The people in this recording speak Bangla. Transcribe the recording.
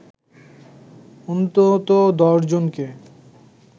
অন্তত ১০ জনকে